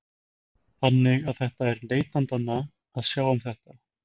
Þannig að þetta er neytendanna að sjá um þetta?